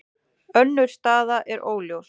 Önnur staða er óljós.